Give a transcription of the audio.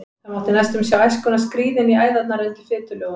Það mátti næstum sjá æskuna skríða inn í æðarnar undir fitulögunum.